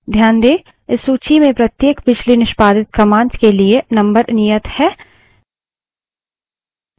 ध्यान दें इस सूची में प्रत्येक पिछली निष्पादित commands के लिए number नियत है